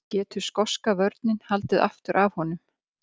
Getur skoska vörnin haldið aftur af honum?